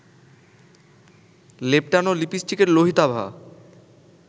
লেপ্টানো লিপস্টিকের লোহিতাভা